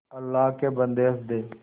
अल्लाह के बन्दे हंस दे